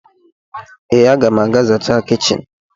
Ee, a ga m aga zachaa kichin.